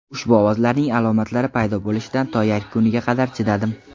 Ushbu ovozlarning alomatlari paydo bo‘lishidan to yakuniga qadar chidadim.